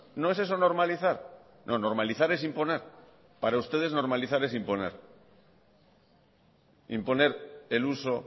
no es eso normalizar no normalizar es imponer para ustedes normalizar es imponer imponer el uso